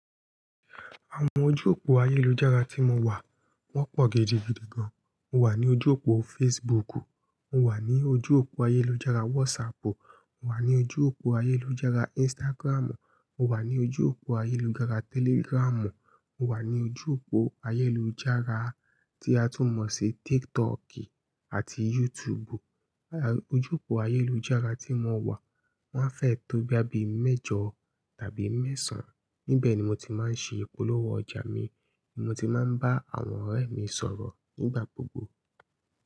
Àwọn ojú òpó ayélujára tí mo wà, wọ́n pọ̀ gidigidi gan. Mo wà ní ojú òpó Facebooku, mo wà ní ojú òpó ayélujára WhatsAppu, mo wà ní ojú òpó ayélujára Instagramu, mo wà ní ojú òpó ayélujára Telegramu, mo wà ní ojú òpó ayélujára tí a tún mọ̀ sí TikToki àti YouTubu. À, ojú òpó ayélujára tí mo wà, wọ́n á fẹ́ẹ̀ tó bí i mẹ́jọ tàbí mẹ́sàn-án. Níbẹ̀ ni mo ti máa ń ṣe ìpolówó ọjà mi, ní mo ti máa ń bá àwọn ọ̀rẹ́ mi sọ̀rọ̀ nígbà gbogbo.